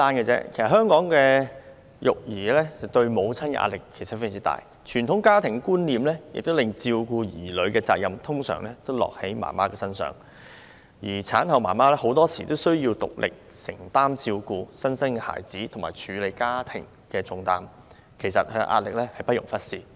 在香港，育兒對母親構成很大壓力，傳統家庭觀念令照顧兒女的責任通常落在母親身上，而很多時候，產後母親須獨力承擔照顧新生嬰兒和處理家務的重擔，壓力之大，不容忽視。